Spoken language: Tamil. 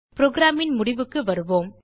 programன் முடிவுக்கு வருவோம்